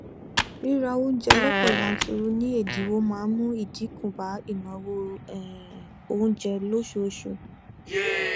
ríra oúnjẹ lọpọ yanturu ní ẹdínwó máa n mú idínkù bá ìnáwó um oúnjẹ lóṣooṣù